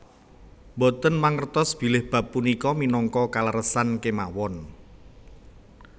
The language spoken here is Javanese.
Mboten mangertos bilih bab punika minangka kaleresan kémawon